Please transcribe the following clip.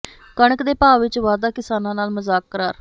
ਕਣਕ ਦੇ ਭਾਅ ਵਿੱਚ ਵਾਧਾ ਕਿਸਾਨਾਂ ਨਾਲ ਮਜ਼ਾਕ ਕਰਾਰ